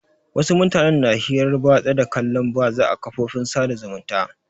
Wasu mutanen na hirar batsa da kallon batsa a kafofin sada zumunta.